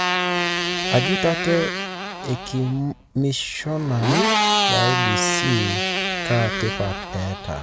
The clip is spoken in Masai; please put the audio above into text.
Ajut ate ikomishonani le IEBC kaa tipat eta?